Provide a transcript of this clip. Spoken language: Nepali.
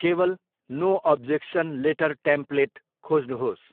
केवल नो अब्जेक्सन लेटर टेम्प्लेट खोज्नुहोस्।